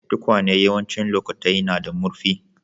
Tukwane yawancin lokatai na da murfi.